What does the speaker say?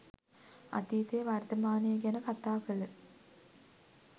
අතීතය වර්තමානය ගැන කතා කල